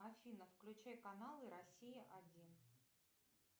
афина включай каналы россия один